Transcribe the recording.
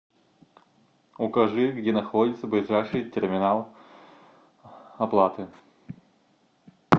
укажи где находится ближайший терминал оплаты